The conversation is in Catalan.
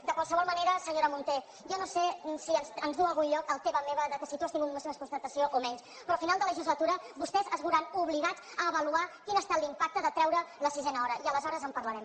de qualsevol manera senyora munté jo no sé si ens duu a algun lloc el teva meva que si tu n’has tingut més constatació o menys però al final de legislatura vostès es veuran obligats a avaluar quin ha estat l’impacte de treure la sisena hora i aleshores en parlarem